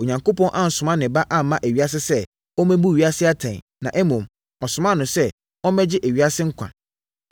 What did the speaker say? Onyankopɔn ansoma ne Ba amma ewiase sɛ ɔmmɛbu ewiase atɛn, na mmom, ɔsomaa no sɛ, ɔmmɛgye ewiase nkwa.